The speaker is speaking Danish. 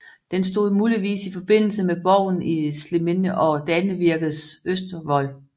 Den stod muligvis i forbindelse med borgen i Sliminde og Danevirkes østervold